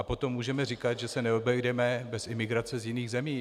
A potom můžeme říkat, že se neobejdeme bez imigrace z jiných zemí.